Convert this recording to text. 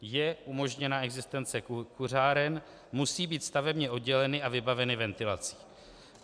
Je umožněna existence kuřáren, musí být stavebně odděleny a vybaveny ventilací.